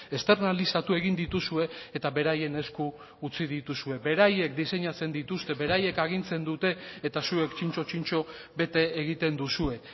esternalizatu egin dituzue eta beraien esku utzi dituzue beraiek diseinatzen dituzte beraiek agintzen dute eta zuek txintxo txintxo bete egiten duzue